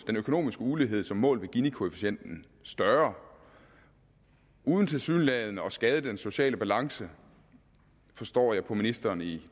økonomiske ulighed som målt ved ginikoefficienten større uden tilsyneladende at skade den sociale balance forstår jeg på ministeren i